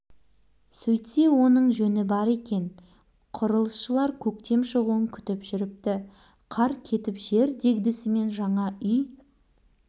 үй маңындағы тазартылып тегістелген жерге көшеттер отырғызылып жол атаулыға алаңқайға асфальт төселе бастады